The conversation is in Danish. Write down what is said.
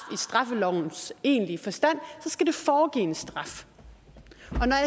straffelovens egentlige forstand så skal foregive en straf